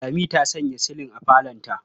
Lami ta sanya silin a falonta.